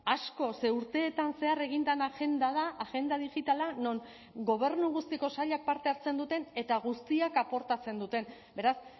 asko ze urteetan zehar egin den agenda da agenda digitala non gobernu guztiko sailak parte hartzen duten eta guztiak aportatzen duten beraz